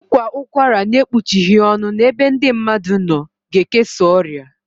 Ị kwa ụkwara n'ekpuchighi ọnụ n'ebe ndị mmadụ nọ ga ekesa ọrịa